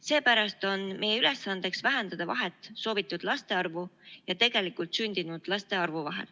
Seepärast on meie ülesandeks vähendada vahet soovitud laste arvu ja tegelikult sündinud laste arvu vahel.